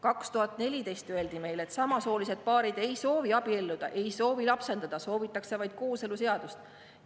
2014 öeldi meile, et samasoolised paarid ei soovi abielluda, ei soovi lapsendada, soovitakse vaid kooseluseadust.